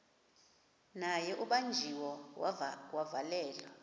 naye ubanjiwe wavalelwa